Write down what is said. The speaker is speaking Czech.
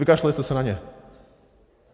Vykašlali jste se na ně.